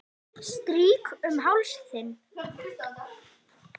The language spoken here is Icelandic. Strýk um háls þinn.